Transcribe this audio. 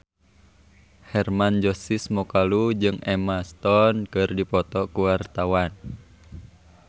Hermann Josis Mokalu jeung Emma Stone keur dipoto ku wartawan